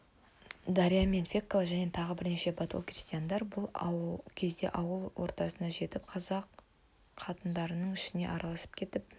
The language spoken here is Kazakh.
дарья мен фекла және тағы бірнеше батыл крестьянкалар бұл кезде ауыл ортасына жетіп қазақ қатындарының ішіне араласып кетіп